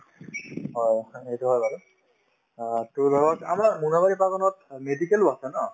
হয় হয় বাৰু অ to ধৰক আমাৰ মোনাবাৰী বাগানত অ medical ও আছে ন